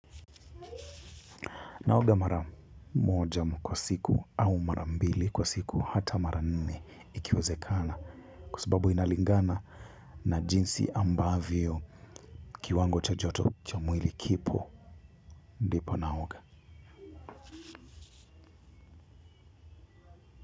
Naoga mara moja kwa siku au mara mbili kwa siku hata mara nne ikiwezekana kwa sababu inalingana na jinsi ambavyo kiwango cha joto cha mwili kipo ndipo naoga.